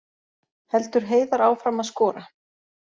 Heldur Heiðar áfram að skora